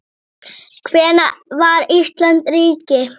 Hvenær varð Ísland ríki?